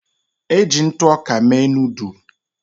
Eji ntụ ọka mee noodul.